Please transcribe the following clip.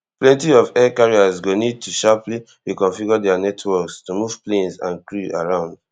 plenty of air carriers go need to sharply reconfigure dia networks to move planes and crews around